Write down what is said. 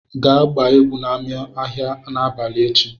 Gaa gbaa egwu n'ámá ahịa n'abalị echi!